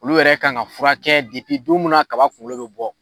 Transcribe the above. Olu kan ka furakɛ don mun na kaba kunkolo bɛ bɔ.